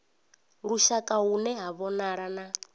lushaka hune ha vhonala na